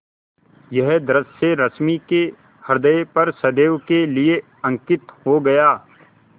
यह दृश्य रश्मि के ह्रदय पर सदैव के लिए अंकित हो गया